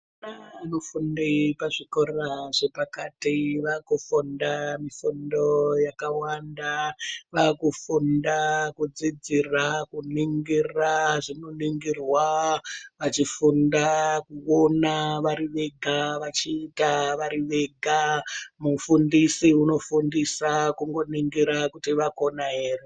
Ana anofunde pazvikora zvepakati vakufunda mifundo yakawanda vakufunda kudzidzira kuningira zvinoningirwa vachifunda kuona vari vega vachiita vari vega mufundisi unofundisa kungoningira kuti vakona here.